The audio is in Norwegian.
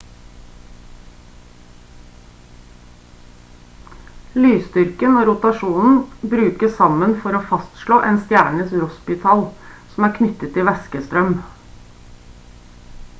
lysstyrken og rotasjonen brukes sammen for å fastslå en stjernes rossbytall som er knyttet til væskestrøm